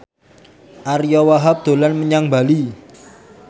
Ariyo Wahab dolan menyang Bali